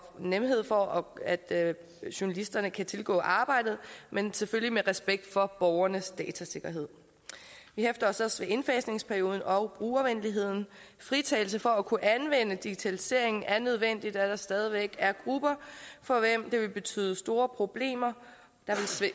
nemhed for at at journalisterne kan tilgå arbejdet men selvfølgelig med respekt for borgernes datasikkerhed vi hæfter os også ved indfasningsperioden og brugervenligheden fritagelse for at kunne anvende digitalisering er nødvendig da der stadig væk er grupper for hvem det vil betyde store problemer der